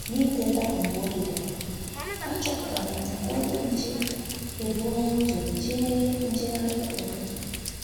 N'ị́tétà mgbe oge gara, àchọ́pụ̀tàrà m na onye nchè èbùòlà ụ́zọ̀ jèè njègharị ụ́tụ́tụ́.